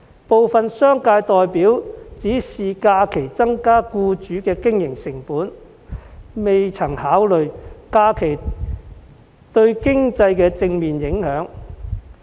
部分商界代表只看到假期增加僱主的經營成本，卻未曾考慮假期對經濟的正面影響。